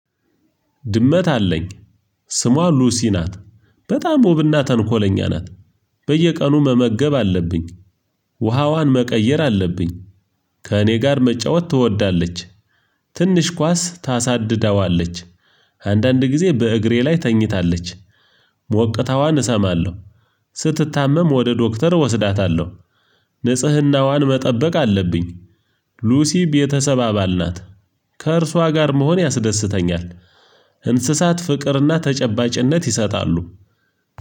ድመት አለኝ ስሟ ሉሲ ናት። በጣም ውብና ተንኮለኛ ናት። በየቀኑ መመገብ አለብኝ። ውሃ ዋን መቀየር አለብኝ ከእኔ ጋር መጫወት ትወዳለች ትንሽ ኳስ ታሳድዳዋለች። አንዳንድ ጊዜ በእግሬ ላይ ተኝታለች ሞቅታዋን እሰማለሁ። ስትታመም ወደ ዶክተር እወስዳታለሁ ንጽህናዋን መጠበቅ አለብኝ ሉሲ ቤተሰብ አባል ናት። ከእርሷ ጋር መሆን ያስደስተኛል። እንስሳት ፍቅርና ተጨባጭነት ይሰጣሉ።